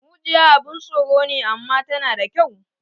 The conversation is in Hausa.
Mujiya abun tsoro ne, amma tana da kyau